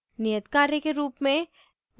नियत कार्य के रूप में